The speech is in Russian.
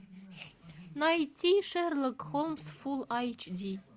найти шерлок холмс фул айч ди